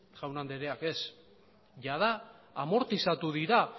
jaun andereak ez jada amortizatu dira